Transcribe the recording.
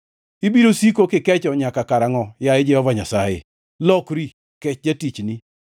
Ibiro siko kikecho nyaka karangʼo, yaye Jehova Nyasaye? Lokri, kech jatichni.